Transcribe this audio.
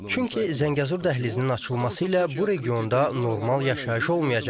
Çünki Zəngəzur dəhlizinin açılması ilə bu regionda normal yaşayış olmayacaq.